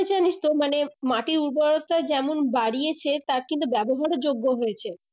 জানিস তো মানে মাটির উর্বরতা যেমন বাড়িয়েছে তার কিন্তু ব্যাবহারও যোগ্য হয়েছে